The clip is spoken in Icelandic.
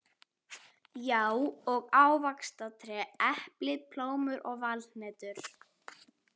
Já, og ávaxtatré: epli, plómur og valhnetur.